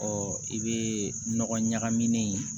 i bɛ nɔgɔ ɲagamin